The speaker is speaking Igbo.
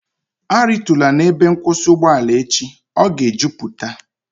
A ritula n'ebe nkwụsị ugboala echi, ọ ga e jupụta!